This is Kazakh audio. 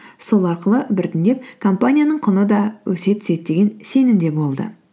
сол арқылы біртіндеп компанияның құны да өсе түседі деген сенімде болды